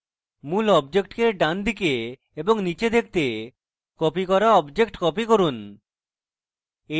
মূল অবজেক্টকে এর ডানদিকে এবং নীচে দেখতে copied করা object copied করুন